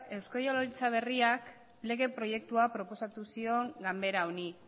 eusko jaurlaritza berriak lege proiektua proposatu zion ganbera honi